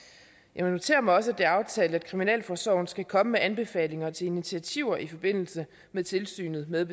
jeg noterer mig også at det er aftalt at kriminalforsorgen skal komme med anbefalinger til initiativer i forbindelse med tilsynet med